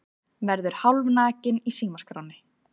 Verður hálfnakinn í símaskránni